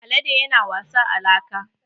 Alade yana wasa a laka.